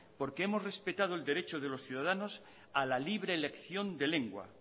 porque hemos respetado el derecho de los ciudadanos a la libre elección de lengua